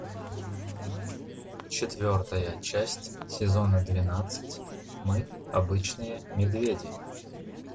четвертая часть сезона двенадцать мы обычные медведи